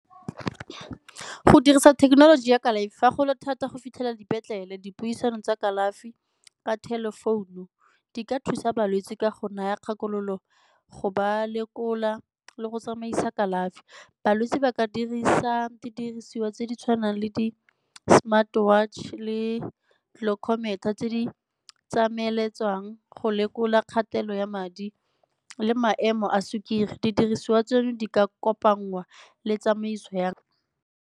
Go dirisa thekenoloji ya kalafi, fa go le thata go fitlhelela dipetlele dipuisano tsa kalafi ka telephone-u di ka thusa balwetse ka go naya kgakololo go ba lekola le go tsamaisa kalafi. Balwetse ba ka dirisa didiriswa tse di tshwanang le di-smart watch le tse di go lekola kgatelelo ya madi le maemo a sukiri. Didiriswa tseno di ka kopangwa le tsamaiso yang?